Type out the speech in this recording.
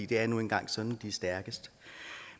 det er nu engang sådan vi er stærkest